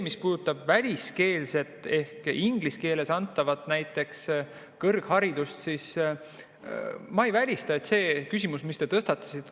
Mis puudutab väliskeelset ehk inglise keeles antavat näiteks kõrgharidust, siis ma ei välista seda küsimust, mille te tõstatasite.